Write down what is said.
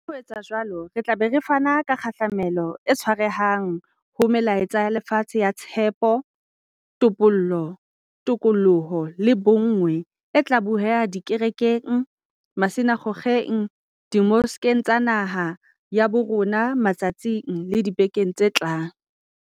Ka ho etsa jwalo, re tla be re fana ka kgahlamelo e tshwarehang ho melaetsa ya lefatshe ya tshepo, topollo, tokoloho le bonngwe e tla bueha dikerekeng, masina kgokgeng, dimoskeng tsa naha ya bo rona matsatsing le dibekeng tse tlang.